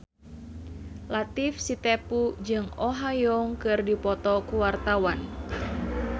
Latief Sitepu jeung Oh Ha Young keur dipoto ku wartawan